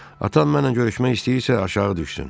Atam mənlə görüşmək istəyirsə, aşağı düşsün.